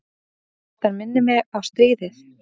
Þetta minnir á stríðið.